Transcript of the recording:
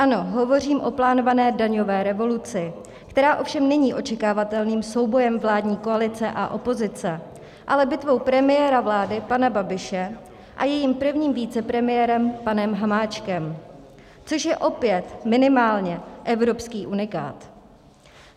Ano, hovořím o plánované daňové revoluci, která ovšem není očekávatelným soubojem vládní koalice a opozice, ale bitvou premiéra vlády pana Babiše a jejím prvním vicepremiérem panem Hamáčkem, což je opět minimálně evropský unikát.